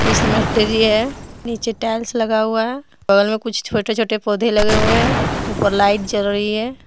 Christmas tree है नीचे tiles लगा हुआ है बगल में कुछ छोटे छोटे पौधे लगे हुए हैं ऊपर लाइट जल रही है।